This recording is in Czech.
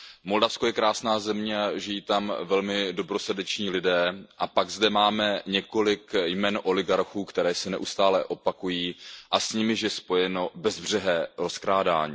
Moldavsko je krásná země, žijí tam velmi dobrosrdeční lidé a pak zde máme několik jmen oligarchů, která se neustále opakují a s nimiž je spojeno bezbřehé rozkrádání.